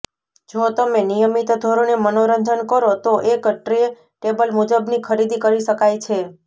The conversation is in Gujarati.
જો તમે નિયમિત ધોરણે મનોરંજન કરો તો એક ટ્રે ટેબલ મુજબની ખરીદી કરી શકાય છે